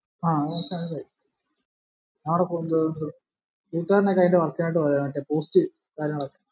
ആ ആട കൊണ്ടോയി കൂട്ടുകാരനൊക്കെ അതിന്റെ work നായിട് മറ്റേ post കാര്യങ്ങളൊക്കെ